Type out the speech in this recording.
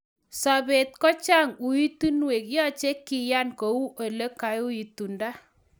Sobet kochang uitunwek yoche kiyan kou ole kaitunda.